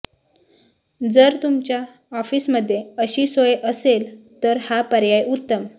जर तुमच्या ऑफिसमध्ये अशी सोय असेल तर हा पर्याय उत्तम